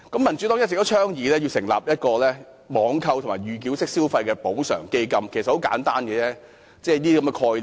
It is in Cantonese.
民主黨一直倡議成立"網購及預繳式消費補償基金"，其實是很簡單的概念。